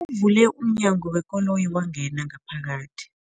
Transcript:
Uvule umnyango wekoloyi wangena ngaphakathi.